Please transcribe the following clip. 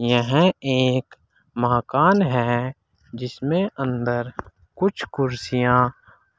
यह एक मकान है जिसमें अंदर कुछ कुर्सियां